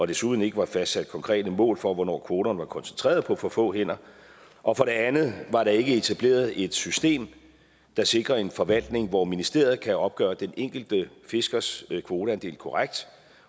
desuden ikke var fastsat konkrete mål for hvornår kvoterne var koncentreret på for få hænder og for det andet var der ikke etableret et system der sikrede en forvaltning hvor ministeriet kunne opgøre den enkelte fiskers kvoteandel korrekt